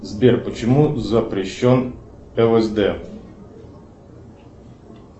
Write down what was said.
сбер почему запрещен лсд